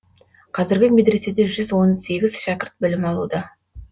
қазіргі медреседе жүз он сегіз шәкірт білім алуда